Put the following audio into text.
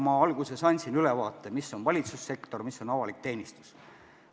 Ma alguses andsin ülevaate, mis on valitsussektor, mis on avalik teenistus.